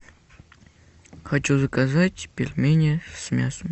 хочу заказать пельмени с мясом